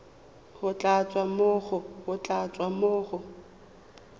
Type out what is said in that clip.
go tla tswa mo go